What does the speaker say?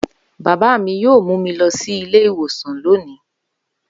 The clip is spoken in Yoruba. Baba mi yoo mu mi lọ si ile-iwosan loni.